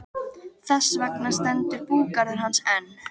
Þess vegna stendur búgarður hans enn.